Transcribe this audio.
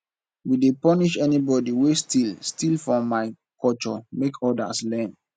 we dey punish anybodi wey steal steal for my culture make odas learn